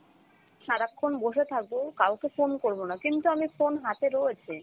সারাক্ষণ বসে থাকো কাউকে phone করব না কিন্তু আমি phone হাতে রয়েছে